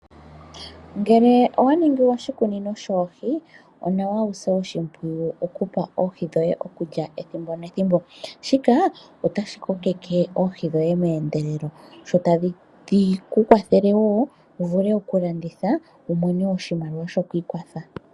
Ngele owaningi oshikunino shoohi, onawa wuse oshimpwiyu okupa oohi dhoye okulya ethimbo nethimbo shika otashi kokeke oohi dhoye meendelelo dho tadhi kukwathele wo wuvule okulanditha wumone oshimaliwa shoku ikwatha.